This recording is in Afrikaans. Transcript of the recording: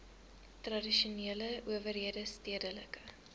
tradisionele owerhede stedelike